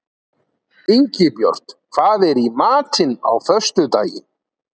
Ingibjört, hvað er í matinn á föstudaginn?